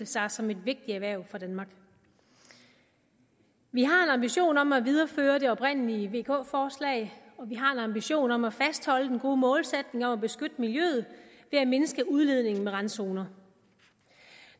sig som et vigtigt erhverv for danmark vi har en ambition om at videreføre det oprindelige vk forslag og vi har en ambition om at fastholde den gode målsætning om at beskytte miljøet ved at mindske udledningen med randzoner